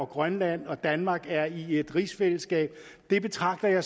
grønland og danmark er i et rigsfællesskab jeg betragter